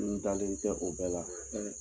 N dalen tɛ o bɛɛ la n